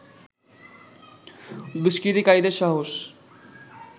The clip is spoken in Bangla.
দুস্কৃতিকারীদের সাহস